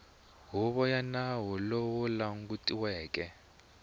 huvo ya nawu lowu langutiweke